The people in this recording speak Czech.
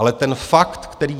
Ale ten fakt, který...